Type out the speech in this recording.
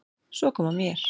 Svo kom að mér.